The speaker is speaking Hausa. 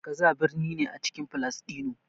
Gaza birni ne a cikin Falasɗinu.